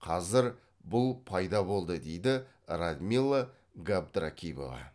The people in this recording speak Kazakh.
қазір бұл пайда болды дейді радмила габдракипова